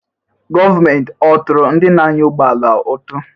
Gọọmenti ọ̀ tụrụ ndị na-anya ụgbọ ala ụtụ?